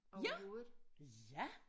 Ja ja